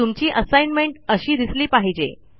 तुमची असाईनमेंट अशी दिसली पाहिजे